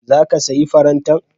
Za ki sayi farantan?